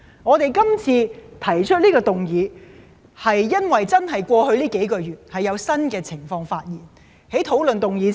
我們提出這次休會待續議案，是由於過去數個月有新的情況出現。